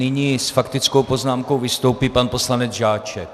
Nyní s faktickou poznámkou vystoupí pan poslanec Žáček.